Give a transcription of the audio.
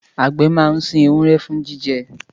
Àgbẹ̀ máa ń sin ewúrẹ́ fún jíjẹ